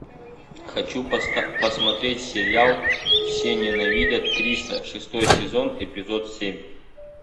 хочу посмотреть сериал все ненавидят криса шестой сезон эпизод семь